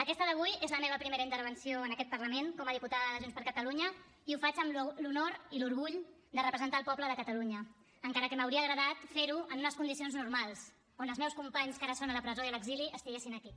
aquesta d’avui és la meva primera intervenció en aquest parlament com a diputada de junts per catalunya i ho faig amb l’honor i l’orgull de representar el poble de catalunya encara que m’hauria agradat fer ho en unes condicions normals on els meus companys que ara són a la presó i a l’exili estiguessin aquí